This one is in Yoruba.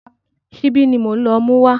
Ṣíbí ni mò ń lọ mú wá.